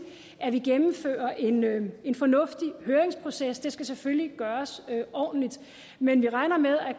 at vi gennemfører en en fornuftig høringsproces det skal selvfølgelig gøres ordentligt men vi regner med at